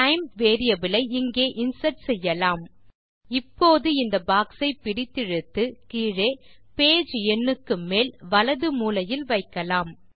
time ஐ இங்கே insert செய்யலாம் இப்போது இந்த பாக்ஸை பிடித்திழுத்து கீழே பேஜ் எண்ணுக்கு மேல் வலது மூலையில் வைக்கலாம்